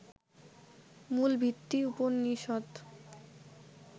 মূল ভিত্তি উপনিষদ্